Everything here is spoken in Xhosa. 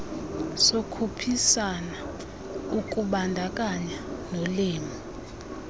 yokukhuphisana ukubandakanya nolimo